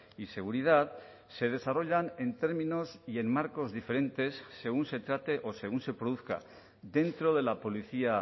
y seguridad se desarrollan en términos y en marcos diferentes según se trate o según se produzca dentro de la policía